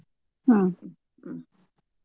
ಹ್ಮ್‌.